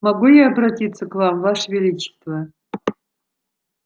могу я обратиться к вам ваше величество